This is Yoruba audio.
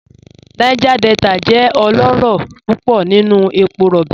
Niger Delta jẹ ọlọrọ púpọ̀ nínu èpò róbí.